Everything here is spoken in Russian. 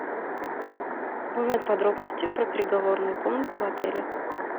узнать подробности про переговорную комнату в отеле